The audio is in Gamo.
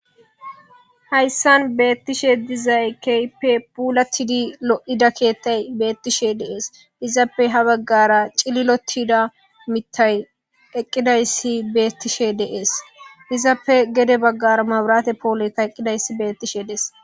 Hayissan betishshe dizayi kehippe pulattid lo'ida keetayi betishshe dees.izappe haa bagara cililotida miththayi eqqidayiss betishshe de'ees.izappe gede bagara mabirate poleyi eqqidayiss betishshe de'ees.